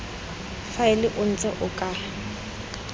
faela o ntse o ka